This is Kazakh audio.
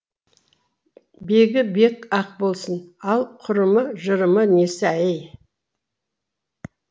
бегі бег ақ болсын ал құрымы жырымы несі әй